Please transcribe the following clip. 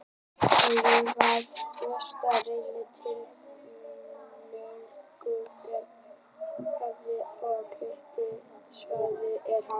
Borholurnar hafa flestar reynst tiltölulega aflmiklar, og hiti svæðisins er hár.